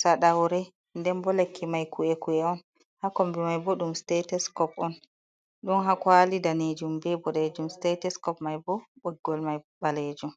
saɗaure. Nden bo lekki mai ku'e ku'e on. Ha kombi mai bo ɗum stetoskop on, ɗon ha kwali daneejum be boɗejum, stetoskop mai bo ɓoggol mai ɓaleejum.